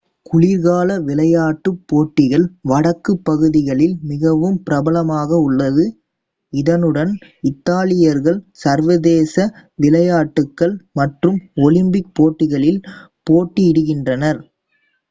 குளிர்கால விளையாட்டுப் போட்டிகள் வடக்குப் பகுதிகளில் மிகவும் பிரபலமாக உள்ளது இதனுடன் இத்தாலியர்கள் சர்வதேச விளையாட்டுகள் மற்றும் ஒலிம்பிக் போட்டிகளில் போட்டியிடுகின்றனர்